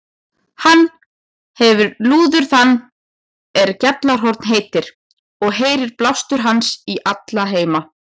Hann hefir lúður þann er Gjallarhorn heitir, og heyrir blástur hans í alla heima.